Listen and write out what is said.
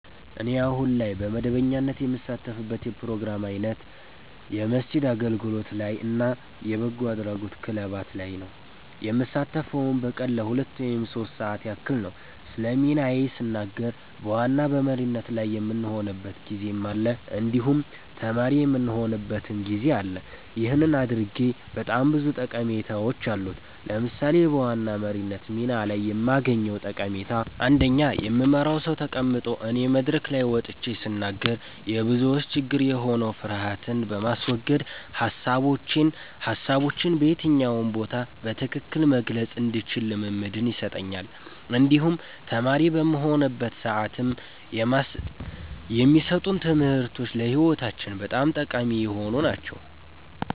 እኔ አሁን ላይ በመደበኛነት የምሳተፍበት የፕሮግራም አይነት የቤተክርስቲያን አገልግሎት ላይ እና የበጎ አድራጎት ክለባት ላይ ነዉ። የምሳተፈዉም በቀን ለሁለት ወይም ሶስት ሰዓታት ያክል ነዉ። ስለ ሚናዬ ስናገር በዋና በመሪነት ላይ የምሆንበትም ጊዜ አለ እንዲሁም ተማሪ የምሆንበትም ጊዜ አለ ይህን ማድረጌ በጣም ብዙ ጠቀሜታዎች አሉት። ለምሳሌ በዋና መሪነት ሚና ላይ የማገኘዉ ጠቀሜታ አንደኛ የምመራዉ ሰዉ ተቀምጦ እኔ መድረክ ላይ ወጥቼ ስናገር የብዙዎች ችግር የሆነዉን ፍርሀትን በማስወገድ ሀሳቦቼን በየትኛው ቦታ በትክክል መግለፅ እንድችል ልምምድን ይሰጠኛል እንዲሁም ተማሪ በምሆንበት ሰዓትም የማሰጡን ትምህርቶች ለህይወታችን በጣም ጠቃሚ የሆኑ ናቸዉ።